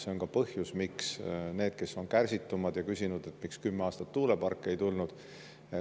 See on põhjus,, kes on kärsitumad ja küsinud, miks kümme aastat tuuleparke ei tulnud.